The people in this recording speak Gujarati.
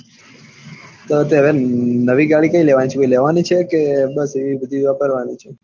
તો આમ નવી ગાડી કઈ લેવાની છે કોઈલેવાની છે કે આ બધી વાપરવા ની છે